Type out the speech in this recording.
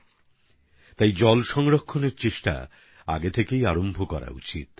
সেজন্যই জল সংরক্ষণের লক্ষ্যে আমাদের এখন থেকেই চেষ্টা শুরু করা উচিৎ